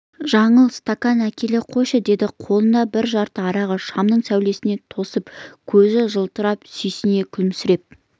жаңыл стакан әкеле қойшы деді қолында бір жарты арағы шамның сәулесіне тосып көзі жылтырап сүйсіне күлімсіреп